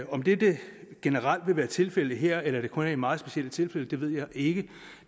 om det det generelt vil være tilfældet her eller det kun er i meget specielle tilfælde ved jeg ikke